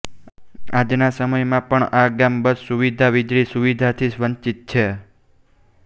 આજના સમયમાં પણ આ ગામ બસ સુવિધા વિજળી સુવિધાથી વંચિત છે